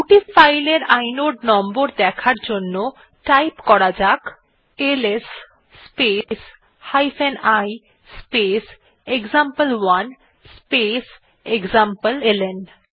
দুটি ফাইল এর inode number দেখার জন্য টাইপ করা যাক LS space i space example one space এক্সামপ্লেলন